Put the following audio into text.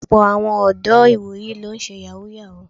Ọ̀pọ́ àwọn ọ̀dọ́ ìwòyí ló ń ṣe Yàhooyahoo